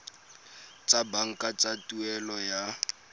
tsa banka tsa tuelo ya